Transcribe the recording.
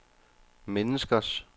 menneskers